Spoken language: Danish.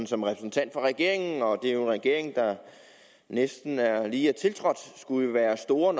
som repræsentant for regeringen og det er jo en regering der næsten lige er tiltrådt skulle være stor